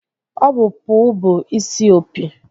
Ọ bụ puu bụ isi opi